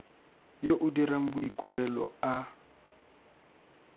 yo o dirang boikuelo a